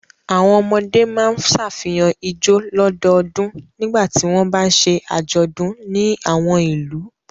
Àwọn ọmọdé máa ṣàfihàn ijó lọ́dọọdún nígbà tí wọ́n bá ń ṣe àjọ̀dún ní àwọn ìlú.